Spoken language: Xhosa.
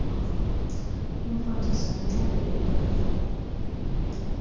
umfundi anxibe iyunifom